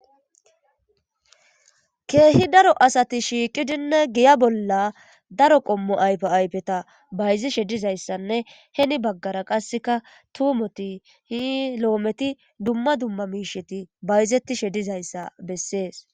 keehi daro asati shiiqidinne giya bolla daro qommo aypo aypeta bayzishe dizayssanne heni baggara qasseka tuumoti hi lo7ometi dumma dumma miisheti bayzettishe dizayssa bessees